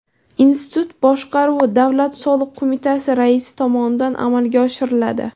Institut boshqaruvi Davlat soliq qo‘mitasi raisi tomonidan amalga oshiriladi.